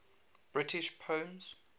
british poems